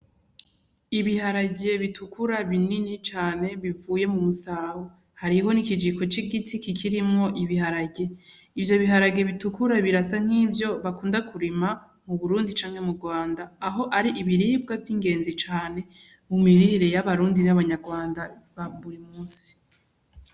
Ibiharage bitukura binini cane bivuye mu musaho hariho n'ikijiko c'igiti kikirimwo ibiharage, ivyo biharage bitukura birasa nk'ivyo bakunda kurima mu Burundi canke mu Rwanda, aho ari ibiribwa vy'ingezi cane mu mirire y'abarundi n'abanyarwanda ba buri musi.